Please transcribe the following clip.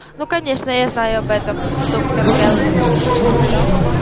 ну конечно я знаю об этом доктор кэлвин